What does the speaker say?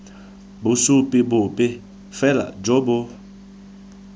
bosupi bope fela jo bo